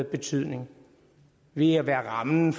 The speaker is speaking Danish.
betydning ved at være rammen